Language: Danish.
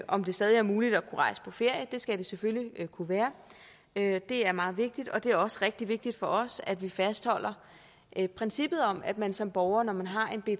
om det stadig er muligt at kunne rejse på ferie det skal det selvfølgelig være det er meget vigtigt og det er også rigtig vigtigt for os at vi fastholder princippet om at man som borger når man har